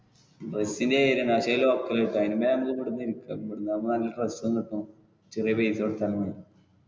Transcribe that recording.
അതിലും ഭേദം ഇവിടുന്നു എടുക്കാം ഇവിടെന്നാകുമ്പോ നല്ല dress ഉം കിട്ടും ചെറിയ പൈസ കൊടുത്താലും മതി.